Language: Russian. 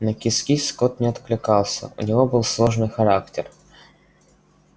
на кис-кис кот не откликался у него был сложный характер